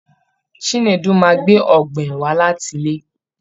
Chinedu máa gbé oghenw wá láti ilé